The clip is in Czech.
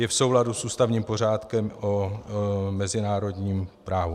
Je v souladu s ústavním pořádkem o mezinárodním právu.